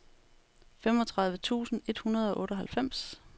femogtredive tusind et hundrede og otteoghalvfems